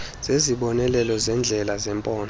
zezibonelelo zendlela zephondo